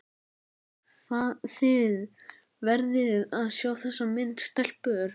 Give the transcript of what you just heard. Þið verðið að sjá þessa mynd, stelpur!